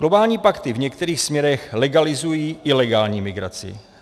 Globální pakty v některých směrech legalizují ilegální migraci.